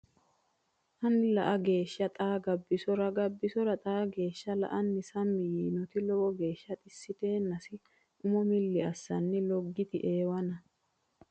anni la geeshsha xaa Gabbisora Gabbisora xaa geeshsha la anni sammi yiinoti lowo geeshsha xissiteennasi umo milli assanni Loggiti Eewana !